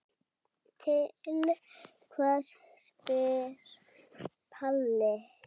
Til hvers spyr Palli.